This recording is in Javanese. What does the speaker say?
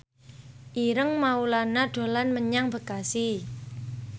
Ireng Maulana dolan menyang Bekasi